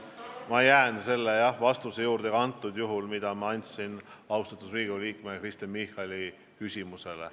Aga ma jään selle vastuse juurde, mille ma andsin austatud Riigikogu liikmele Michalile.